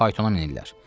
Paytona minirlər.